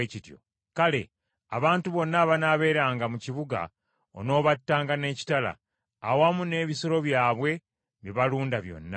kale, abantu bonna abanaabeeranga mu kibuga onoobattanga n’ekitala, awamu n’ebisolo byabwe bye balunda byonna.